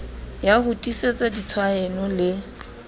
ya ho tiisetsa ditshaeno le